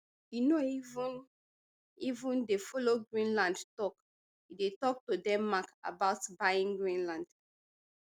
e no even even dey follow greenland tok e dey tok to denmark about buying greenland